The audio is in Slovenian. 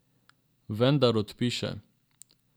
Vendar odpiše.